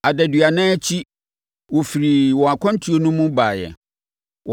Adaduanan akyi, wɔfirii wɔn akwantuo no mu baeɛ.